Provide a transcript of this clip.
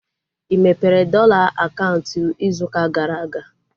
Ị mepere dọla akaụntụ ịzụ ụka gara aga?